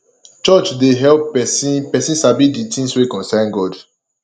church dey help pesin pesin sabi de things wey concern god